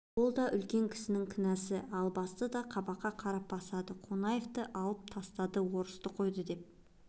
ол да үлкен кісінің кінәсі албасты да қабаққа қарап басады қонаевты алып тастады орыс қойды деп